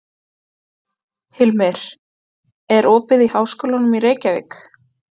Hilmir, er opið í Háskólanum í Reykjavík?